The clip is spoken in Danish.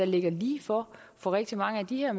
ligger lige for for rigtig mange af de her